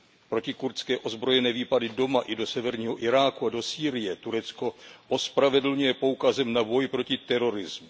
Protikurdské ozbrojené výpady doma i do severního Iráku a do Sýrie Turecko ospravedlňuje poukazem na boj proti terorismu.